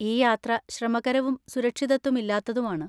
ഈ യാത്ര ശ്രമകരവും സുരക്ഷിതത്വം ഇല്ലാത്തതുമാണ്.